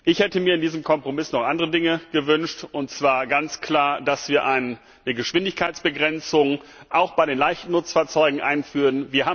Ich hätte mir in diesem Kompromiss noch andere Dinge gewünscht und zwar ganz klar, dass wir eine Geschwindigkeitsbegrenzung auch bei den leichten Nutzfahrzeugen einführen.